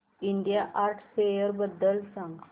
India art fair बद्दल सांग